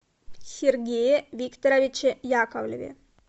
сергее викторовиче яковлеве